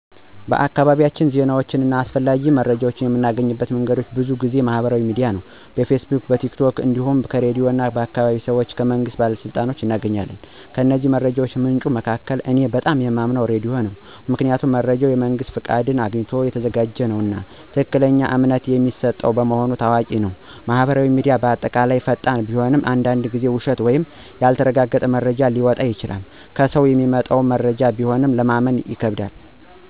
በአካባቢያችን ዜናዎችን እና አስፈላጊ መረጃዎችን የምናገኝባቸው መንገዶች ብዙ ጊዜ በማህበራዊ ሚዲያ (በፌስቡክ፣ ቲክ ቶክ) ነው። እንዲሁም ከራድዮን፣ ከአካባቢ ሰዎች እና ከመንግስት ባለሥልጣኖች እናገኛለን። ከእነዚህ መረጃ ምንጮች መካከል እኔ በጣም የማምነው ራዲዮ ነው። ምክንያቱም መረጃው የመንግስት ፍቃድ አግኝቶ የተዘጋጀ ነውና፣ ትክክለኛና እምነት የሚሰጠው በመሆኑ ታዋቂ ነው። ማህበራዊ ሚዲያ በአጠቃላይ ፈጣን ቢሆንም አንዳንድ ጊዜ ውሸት ወይም ያልተረጋገጠ መረጃ ሊወጣ ይችላል። ከሰው የሚመጡ መረጃዎችም ቢሆን ለማመን ይከብዳል።